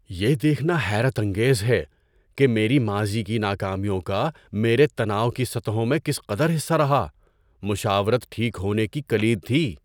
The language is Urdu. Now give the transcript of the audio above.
یہ دیکھنا حیرت انگیز ہے کہ میری ماضی کی ناکامیوں کا میرے تناؤ کی سطحوں میں کس قدر حصہ رہا۔ مشاورت ٹھیک ہونے کی کلید تھی۔